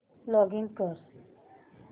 login कर